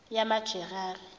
yamajerari